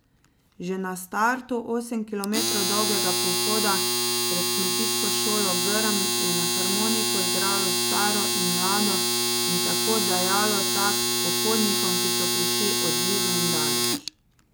Že na startu osem kilometrov dolgega pohoda pred kmetijsko šolo Grm, je na harmoniko igralo staro in mlado in tako dajalo takt pohodnikom, ki so prišli od blizu in daleč.